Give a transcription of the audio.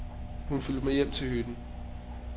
Hun fulgte med hjem til hytten.